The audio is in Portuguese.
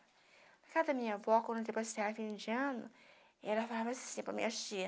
Na casa da minha avó, quando eu depois saia vindo de ano, ela falava assim para as minha tia,